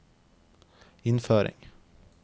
innføring